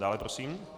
Dále prosím.